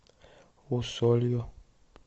усолью